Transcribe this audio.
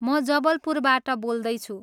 म जबलपुरबाट बोल्दैछु।